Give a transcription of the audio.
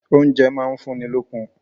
Oúnjẹ máa ń fún ni lókun.